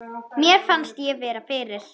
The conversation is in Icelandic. Mér fannst ég vera fyrir.